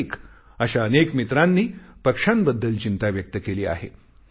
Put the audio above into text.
कार्तिक अशा अनेक मित्रांनी पक्ष्यांबद्दल चिंता व्यक्त केली आहे